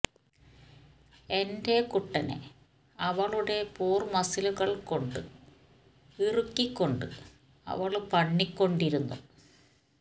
എന്റെ കുട്ടനെ അവളുടെ പൂര് മസിലുകള് കൊണ്ട് ഇറുക്കി കൊണ്ട് അവള് പണ്ണി കൊണ്ടിരുന്നു